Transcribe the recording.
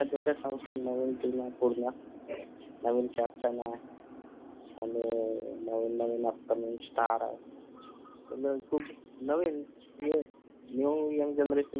आता जस संशय म्हणून नवीन जास्तला आणि नवीन नवीन असताना star नवं कुंड नवीन येऊन young generation